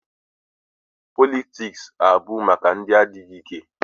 Politiks abụghị maka ndị adịghị ike.